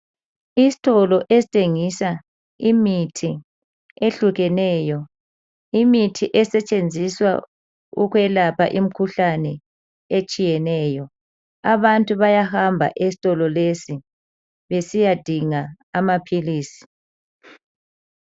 Isitolo esithengisa imithi ehlukeneyo. Imithi esetshenziswa ukwelapha imikhuhlane etshiyeneyo. Abantu bayahamba esitolo lesi besiyadinga amaphilisi.